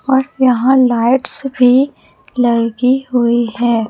और यहां लाइट्स भी लगी हुई है।